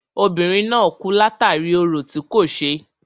Obìnrin náà kú látàri orò tí kò ṣe.